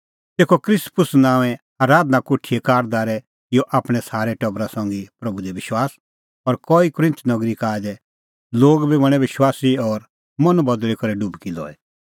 तेखअ क्रिस्पुस नांओंए आराधना कोठीए कारदारै किअ आपणैं सारै टबरा संघी प्रभू दी विश्वास और कई कुरिन्थ नगरी का आऐ दै लोग बी बणैं विश्वासी और मन बदल़ी करै डुबकी लई